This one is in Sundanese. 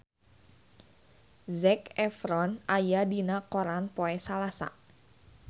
Zac Efron aya dina koran poe Salasa